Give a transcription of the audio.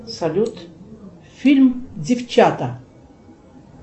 салют фильм девчата